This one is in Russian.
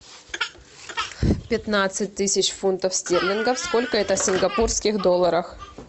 пятнадцать тысяч фунтов стерлингов сколько это в сингапурских долларах